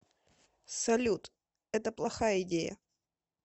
салют это плохая идея